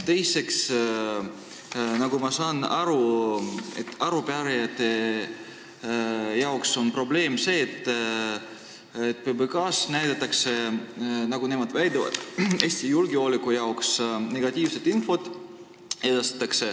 Teiseks, nagu ma aru saan, on arupärijate jaoks probleem järgmine: nad väidavad, et PBK-s edastatakse Eesti julgeoleku seisukohalt negatiivset infot.